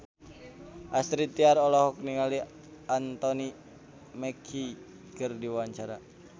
Astrid Tiar olohok ningali Anthony Mackie keur diwawancara